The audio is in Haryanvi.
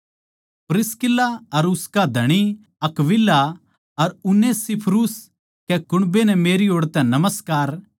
प्रीस्का अर उसका धणी अक्विला अर उनेसिफुरुस कै कुण्बे नै मेरी ओड़ तै नमस्कार